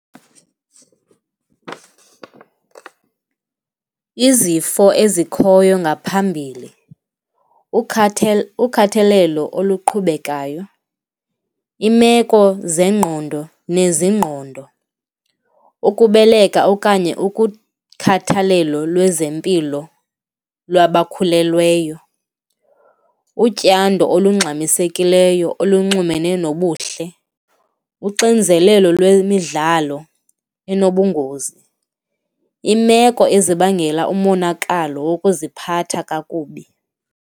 Izifo ezikhoyo ngaphambili, ukhathalelo oluqhubekayo, iimeko zengqondo neziingqondo, ukubeleka okanye ukukhathalelo lwezempilo lwabakhulelweyo, utyando olungxamisekileyo elunxumene nobuhle, uxinzelelo lwemidlalo enobungozi, iimeko ezibangela umonakalo wokuziphatha kakubi.